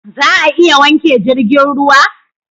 Za a iya wanke jirgin ruwa?